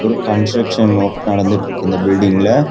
ஒரு construction work நடந்திட்டுருக்கு இந்த பில்டிங்ல .